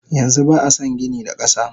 Yanxu ba ason gini da kasa.